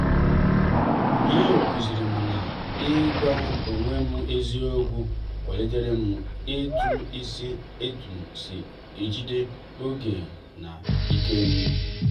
ụnyaahụ kụzirim na-igwa onwe m eziokwu kwaliterem etum si etum si ejide oge na ikem.